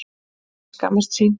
Svenni skammast sín.